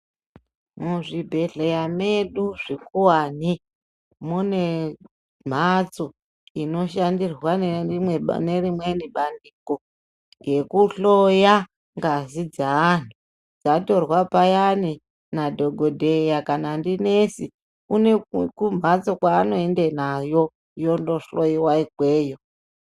Muzvibhedhleya medu zvikuvani mune mhatso inoshandirwa nerimweni bandiko. Rekuhloya ngazi dzeantu dzatorwa payani nadhogodheya kana ndinesi une kumhatso kwaanoenda nayo yondohloiwa ikweyo.